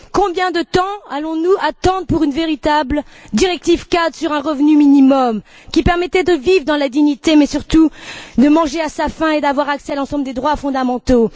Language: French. Combien de temps allons nous attendre pour adopter une véritable directive cadre sur un revenu minimum, qui permettrait à chacun de vivre dans la dignité, mais surtout de manger à sa faim et d'avoir accès à l'ensemble des droits fondamentaux?